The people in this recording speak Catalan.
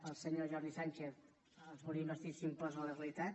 el senyor jordi sànchez el volien investir i s’imposa la realitat